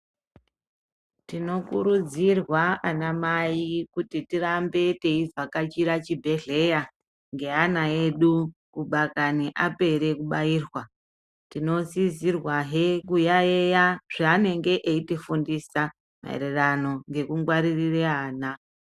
Tinokurudzirwa ana mai kuti tirambe teivhakachira chibhedhleya ngeana edu kudakani apere kubairwa. Tinosisirwahe kuyaiya zvaanenge eitifundisa maererano ngekungwaririre ana.